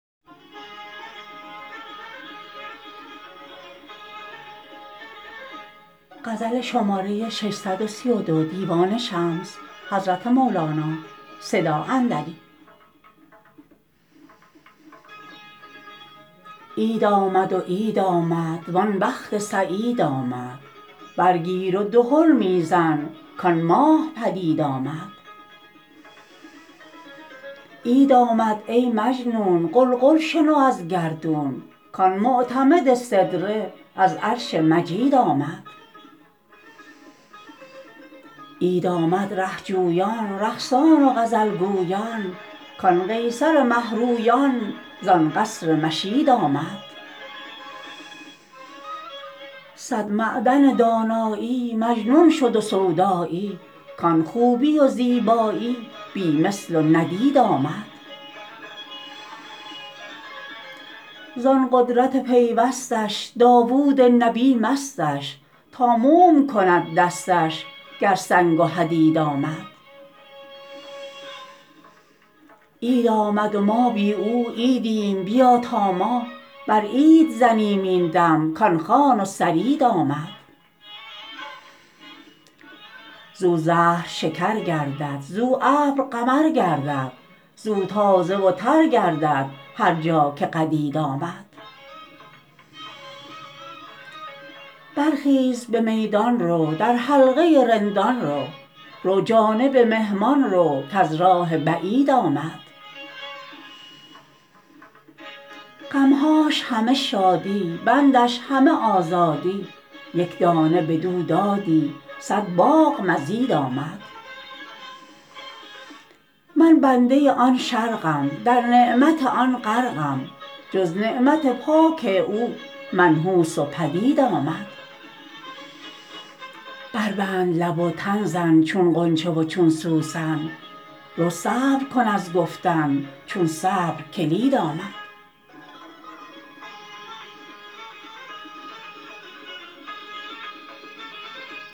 عید آمد و عید آمد وان بخت سعید آمد برگیر و دهل می زن کآن ماه پدید آمد عید آمد ای مجنون غلغل شنو از گردون کآن معتمد سدره از عرش مجید آمد عید آمد ره جویان رقصان و غزل گویان کآن قیصر مه رویان زان قصر مشید آمد صد معدن دانایی مجنون شد و سودایی کآن خوبی و زیبایی بی مثل و ندید آمد زان قدرت پیوستش داوود نبی مستش تا موم کند دستش گر سنگ و حدید آمد عید آمد و ما بی او عیدیم بیا تا ما بر عید زنیم این دم کآن خوان و ثرید آمد زو زهر شکر گردد زو ابر قمر گردد زو تازه و تر گردد هر جا که قدید آمد برخیز به میدان رو در حلقه رندان رو رو جانب مهمان رو کز راه بعید آمد غم هاش همه شادی بندش همه آزادی یک دانه بدو دادی صد باغ مزید آمد من بنده آن شرقم در نعمت آن غرقم جز نعمت پاک او منحوس و پلید آمد بربند لب و تن زن چون غنچه و چون سوسن رو صبر کن از گفتن چون صبر کلید آمد